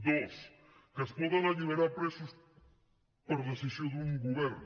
dos que es poden alliberar presos per decisió d’un govern